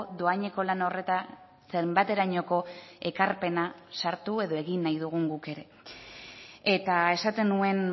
dohaineko lan horretan zenbaterainoko ekarpena sartu edo egin nahi dugun guk ere eta esaten nuen